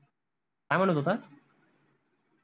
काय म्हनत होता?